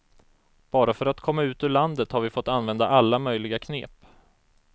Bara för att komma ut ur landet har vi fått använda alla möjliga knep.